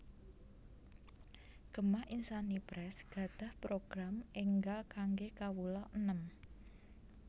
Gema Insani Press gadhah program enggal kangge kawula enem